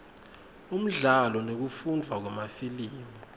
umdlalo nekufundvwa kwemafilimu